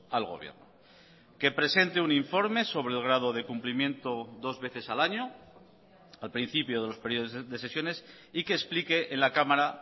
al gobierno que presente un informe sobre el grado de cumplimiento dos veces al año al principio de los periodos de sesiones y que explique en la cámara